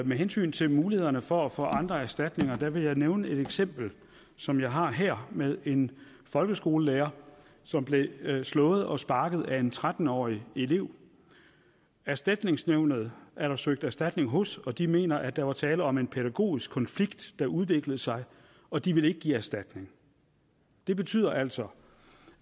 med hensyn til mulighederne for at få andre erstatninger vil jeg nævne et eksempel som jeg har her med en folkeskolelærer som blev slået og sparket af en tretten årig elev erstatningsnævnet er der søgt erstatning hos og de mener at der var tale om en pædagogisk konflikt der udviklede sig og de ville ikke give erstatning det betyder altså